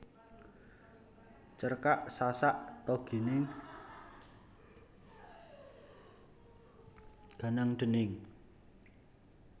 Cerkak Sasak Ta Gining Ganang déning